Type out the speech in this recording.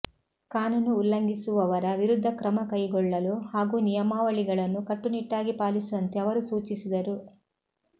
ಕಾನೂನು ಉಲ್ಲಂಘಿಸುವವರ ವಿರುದ್ಧ ಕ್ರಮ ಕೈಗೊಳ್ಳಲು ಹಾಗೂ ನಿಯಮಾವಳಿಗಳನ್ನು ಕಟ್ಟುನಿಟ್ಟಾಗಿ ಪಾಲಿಸುವಂತೆ ಅವರು ಸೂಚಿಸಿದರು